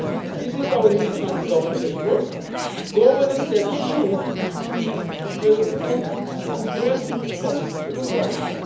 This is our new economic governance at work governance that should be the comprehensive response to the crisis.